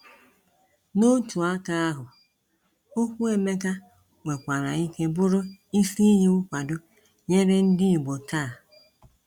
N’otu aka ahụ, okwu Emeka nwekwara ike bụrụ isi iyi nkwado nyere ndị Igbo taa.